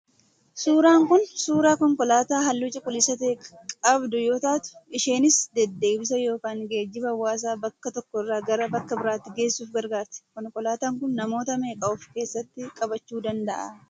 Suuraan Kun, suuraa konkolaataa halluu cuquliisa ta'e qabdu yoo taatu, isheenis deddeebisa yookaan geejiba hawaasaa bakka tokko irraa gara bakka biraatti geessuuf gargaarti. Konkolaataan kun namoota meeqa of keessatti qabachuu danda'a?